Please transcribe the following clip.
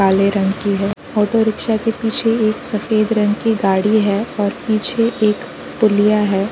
काले रंग की है। ऑटो रिक्शा के पीछे एक सफ़ेद रंग की गाड़ी है और पीछे एक पुलिया है।